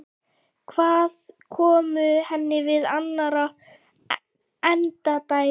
Hvað komu henni við annarra endadægur?